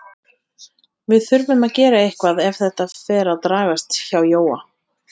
Við þurfum að gera eitthvað ef þetta fer að dragast hjá Jóa.